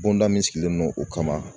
Bonda min sigilen don o kama